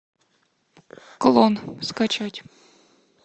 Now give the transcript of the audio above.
клон скачать